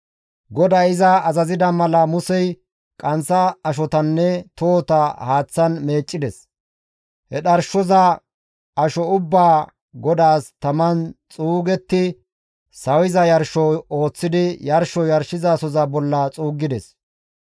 GODAY iza azazida mala Musey qanththa ashotanne tohota haaththan meeccides; he dharshoza asho ubbaa GODAAS taman xuugetti sawiza yarsho ooththidi yarsho yarshizasoza bolla xuuggides.